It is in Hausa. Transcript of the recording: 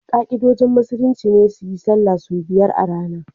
Ka'idojin musulmi ne su yi sallah sau biyar a rana